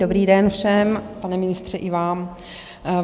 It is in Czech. Dobrý den všem, pane ministře, i vám.